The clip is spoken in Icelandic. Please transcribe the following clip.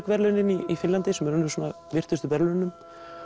verðlaunin í Finnlandi sem eru svona virtustu verðlaununum